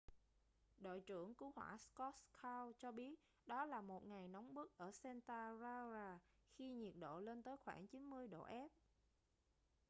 đội trưởng cứu hỏa scott kouns cho biết đó là một ngày nóng bức ở santa clara khi nhiệt độ lên tới khoảng 90 độ f